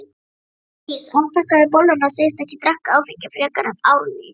Sædís afþakkar bolluna, segist ekki drekka áfengi frekar en Árný.